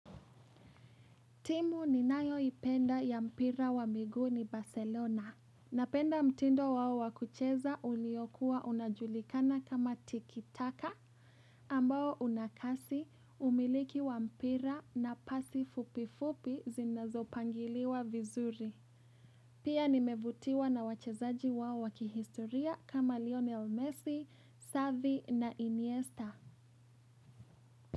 Timu ninayoipenda ya mpira wa miguu ni Barcelona. Napenda mtindo wao wa kucheza uliokuwa unajulikana kama tikitaka. Ambao unakasi, umiliki wa mpira na pasi fupifupi zinazopangiliwa vizuri. Pia nimevutiwa na wachezaji wao wakihistoria kama Lionel Messi, Savi na Iniesta.